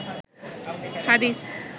হাদিস